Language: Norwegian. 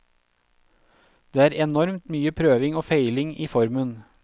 Det er enormt mye prøving og feiling i formen.